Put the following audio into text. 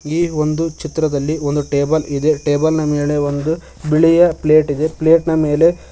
ಈ ಒಂದು ಚಿತ್ರದಲ್ಲಿ ಒಂದು ಟೇಬಲ್ ಇದೆ ಟೇಬಲ್ನ ಮೇಲೆ ಒಂದು ಬಿಳಿಯ ಪ್ಲೇಟ್ ಇದೆ ಪ್ಲೇಟ್ ನ ಮೇಲೆ--